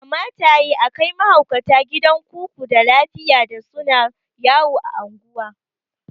Kamata yayi akai mahaukata gidan kuku da lafiya da suna yawo a unguwa